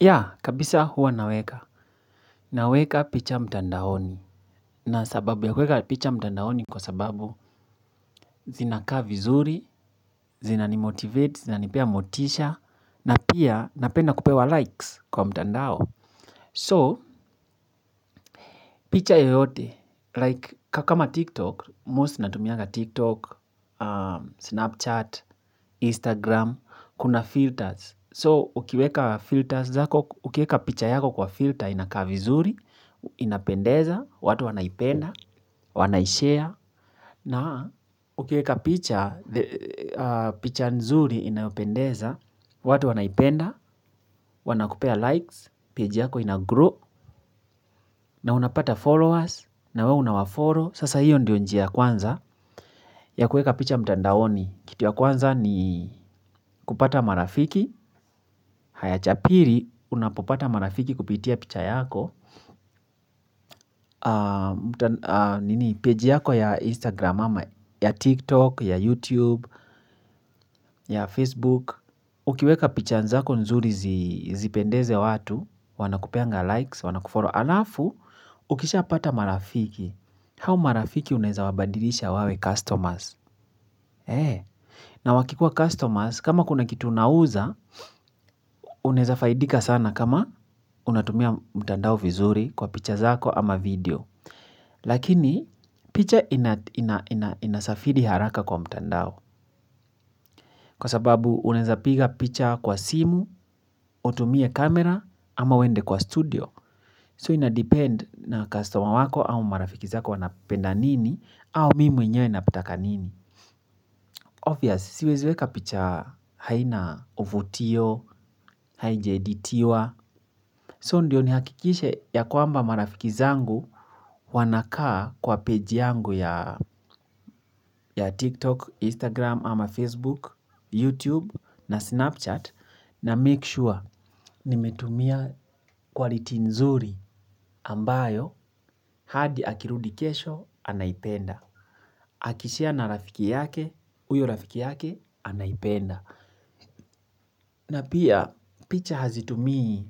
Ya, kabisa huwa naweka. Naweka picha mtandaoni. Na sababu ya kuweka picha mtandaoni kwa sababu zinakaa vizuri, zinani motivate, zinanipea motisha, na pia napenda kupewa likes kwa mtandao. So, picha yoyote, like kama TikTok, most natumianga TikTok, Snapchat, Instagram, kuna filters. So, ukiweka filters, ukiweka picha yako kwa filter inakaa vizuri, inapendeza, watu wanaipenda, wanaishare. Na ukieka picha, picha nzuri inaopendeza, watu wanaipenda, wana kupea likes, page yako ina grow, na unapata followers, na we unawafollow, sasa hiyo ndio njia ya kwanza. Ya kueka picha mtandaoni, kitu ya kwanza ni kupata marafiki, haya cha pili, unapopata marafiki kupitia picha yako, nini, page yako ya Instagram, ya TikTok, ya YouTube, ya Facebook. Ukiweka picha zako nzuri zipendeze watu, wanakupeanga likes, wanakufollow, halafu, ukisha pata marafiki. Hao marafiki unaeza wabadilisha wawe customers. Na wakikua customers, kama kuna kitu unauza, unaeza faidika sana kama unatumia mtandao vizuri kwa picha zako ama video. Lakini, picha inasafidi haraka kwa mtandao. Kwa sababu unaeza piga picha kwa simu, utumie kamera ama uende kwa studio. So ina depend na customer wako au marafiki zako wanapenda nini, au mwenyewe nataka nini. Obvious, siwezi weka picha haina uvutio, haija editiwa, so ndiyo ni hakikishe ya kwamba marafiki zangu wanakaa kwa page yangu tiktok instagram ama facebook youtube na snapchat namake sure nimetumia quality nzuri ambayo hadi akirudi kesho anaipenda. Aki share na rafiki yake, huyo rafiki yake, anaipenda. Na pia, picha hazitumii.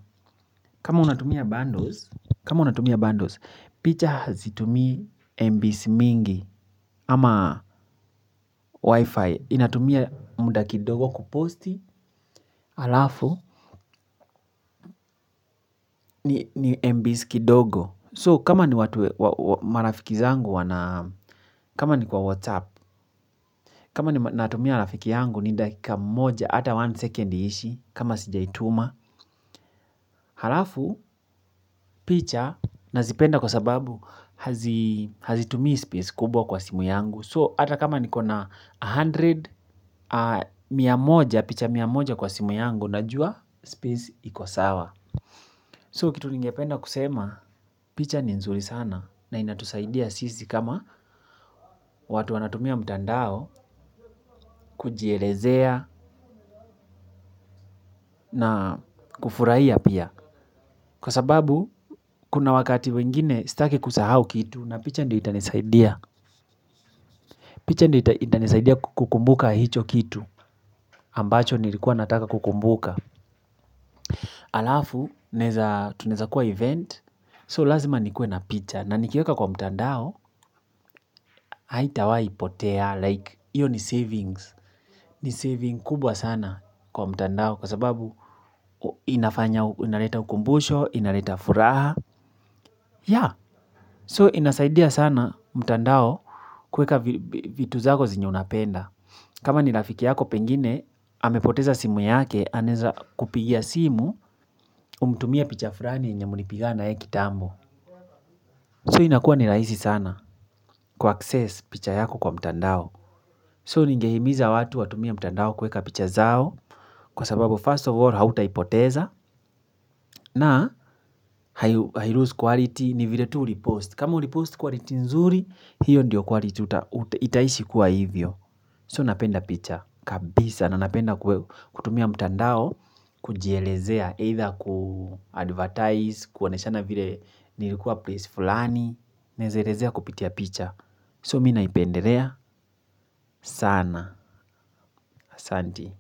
Kama unatumia bundles kama unatumia bundles picha hazitumii mbs mingi. Ama wifi inatumia muda kidogo kuposti halafu ni mbs kidogo So, kama ni watu marafiki zangu wana kama ni kwa WhatsApp Kama ninatumia rafiki yangu ni dakika moja. Ata one second iishi. Kama sijaituma halafu picha nazipenda kwa sababu hazitumii space kubwa kwa simu yangu So hata kama nikona a hundred picha mia moja kwa simu yangu. Najua space iko sawa So kitu ningependa kusema picha ni nzuri sana. Na inatusaidia sisi kama watu wanatumia mtandao. Kujielezea na kufurahia pia kwa sababu kuna wakati wengine sitaki kusahau kitu na picha ndo itanisaidia picha ndio itanisaidia kukumbuka hicho kitu ambacho nilikuwa nataka kukumbuka halafu tunaeza kuwa event so lazima nikuwe na picha na nikiweka kwa mtandao haitawahi potea like hiyo ni savings ni saving kubwa sana kwa mtandao kwa sababu inafanya inaleta ukumbusho, inaleta furaha yaah so inasaidia sana mtandao kuweka vitu zako zenye unapenda. Kama ni rafiki yako pengine, amepoteza simu yake, anaeza kupigia simu, umtumie picha flani yenye mulipiga naye kitambo. So inakua ni rahisi sana ku access picha yako kwa mtandao. So ningehimiza watu watumie mtandao kuweka picha zao kwa sababu first of all hautaipoteza na hai loose quality ni vile tu ulipost kama ulipost quality nzuri hio ndo quality itaishi kuwa hivyo So napenda picha kabisa na napenda kutumia mtandao kujielezea either kuadvertise kuoneshana vile nilikuwa place fulani. Naeza elezea kupitia picha so mi naipendelea sana ahsanti.